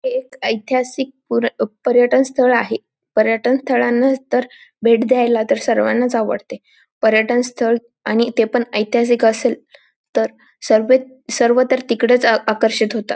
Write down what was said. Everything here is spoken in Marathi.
हे एक ऐतिहासिक पुर पर्यटन स्थळ आहे पर्यटन स्थळांना तर भेट द्यायला तर सर्वांनाच आवडते पर्यटन स्थळ आणि ते पण ऐतिहासिक असेल तर सर्वे सर्व तर तिकडेच आकर्षित होतात.